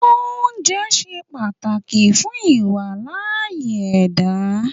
Oúnjẹ ṣe pàtàkì fún ìWàláàyè ẹ̀dá